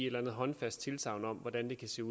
sin